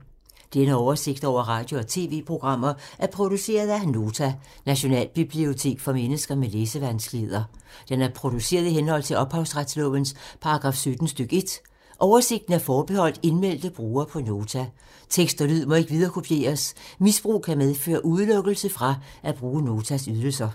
Denne oversigt over radio og TV-programmer er produceret af Nota, Nationalbibliotek for mennesker med læsevanskeligheder. Den er produceret i henhold til ophavsretslovens paragraf 17 stk. 1. Oversigten er forbeholdt indmeldte brugere på Nota. Tekst og lyd må ikke viderekopieres. Misbrug kan medføre udelukkelse fra at bruge Notas ydelser.